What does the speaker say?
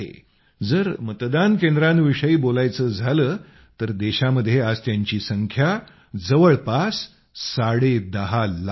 जर मतदान केंद्रांविषयी बोलायचं झालं तर देशामध्ये आज त्यांची संख्या जवळपास साडेदहा लाख आहे